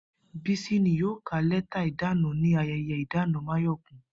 Bísí ni yóò ka lé̩tà ìdána ní aye̩ye̩ ìdáná Máyò̩kún